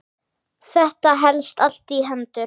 Þetta helst allt í hendur